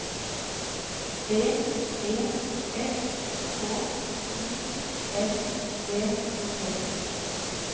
B E S K Y L D T